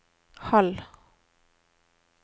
halv